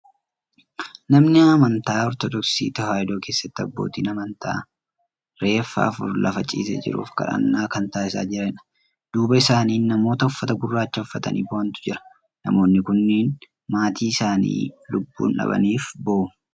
Nama amantaa Ortoodoksii Tawaahidoo keessatti abbootiin amantaa reeffa afur lafa ciisee jiruuf kadhannaa kan taasisaa jiranidha. Duuba isaanis namoota uffata gurraacha uffatanii bohantu jira. Namoonni kunneen matii isaanii lubbuun dhabaniif bohu.